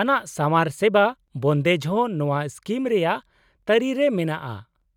ᱟᱱᱟᱜ ᱥᱟᱣᱟᱨ ᱥᱮᱵᱟ ᱵᱚᱱᱫᱮᱡ ᱦᱚᱸ ᱱᱚᱶᱟ ᱥᱠᱤᱢ ᱨᱮᱭᱟᱜ ᱛᱟᱹᱨᱤᱨᱮ ᱢᱮᱱᱟᱜᱼᱟ ᱾